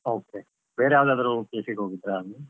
Okay ಬೇರೆ ಯಾವದಾದ್ರು place ಗೆ ಹೋಗಿದ್ರಾ ಅಲ್ಲಿ?